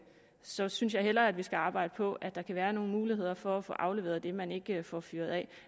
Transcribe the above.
så synes jeg hellere vi skal arbejde på at der kan være nogle muligheder for at få afleveret det man ikke får fyret af